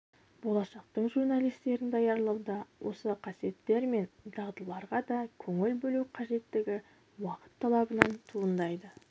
болашақтың журналистерін даярлауда осы қасиеттер мен дағдыларға да көңіл бөлу қажеттігі уақыт талабынан туындайды